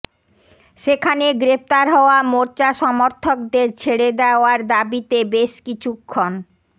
সেখানে গ্রেফতার হওয়া মোর্চা সমর্থকদের ছেড়ে দেওয়ার দাবিতে বেশ কিছুক্ষণ